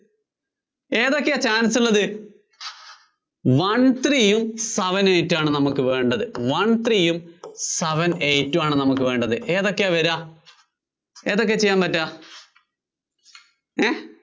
ഏതൊക്കെയാ chance ഉള്ളത്? one three യും seven eight ഉം ആണ് നമുക്ക് വേണ്ടത്. ഏതൊക്കെയാ വര്വാ, ഏതൊക്കെയാ ചെയ്യാന്‍ പറ്റുവ, ങേ